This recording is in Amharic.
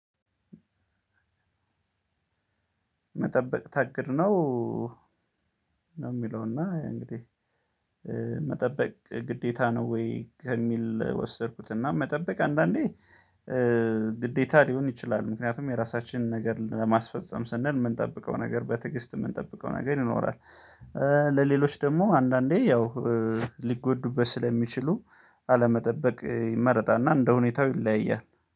መጠበቅ ታግድ ነው። ነው የሚለውና አይ እንግዲህ መጠበቅ ግዴታ ነው? ወይ ከሚል ወሰድኩት እና መጠበቅ አንዳንዴ ግዴታ ሊሆን ይችላል። ምክንያቱም የራሳችንን ነገር ለማስፈፀም ስንል የምንጠብቀው ነገር በትግስት የምንጠብቀው ነገር ይኖራል። ለሌሎች ደግሞ አንዳንዴ ያው ሊጎዱበት ስለሚችሉ አለመጠበቅ ይመረጣልና እንደሁኔታው ይለያያል